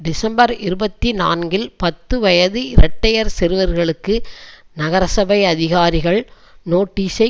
December இருபத்தி நான்கில் பத்துவயது இரட்டையர் சிறுவர்களுக்கு நகரசபை அதிகாரிகள் நோட்டீசை